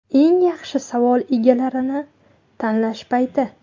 Eng yaxshi savol egalarini tanlash payti.